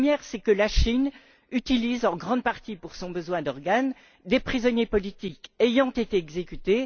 La première, c'est que la Chine utilise en grande partie, pour son besoin d'organes, des prisonniers politiques ayant été exécutés.